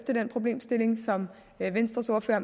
den problemstilling som venstres ordfører